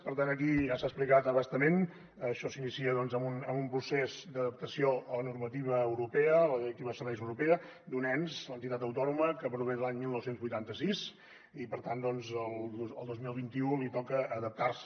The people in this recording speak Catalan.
per tant aquí ja s’ha explicat a bastament això s’inicia doncs amb un procés d’adaptació a la normativa europea a la directiva de serveis europea d’un ens l’entitat autònoma que prové de l’any dinou vuitanta sis i per tant el dos mil vint u li toca adaptarse